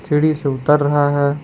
सीढ़ी से उतर रहा है।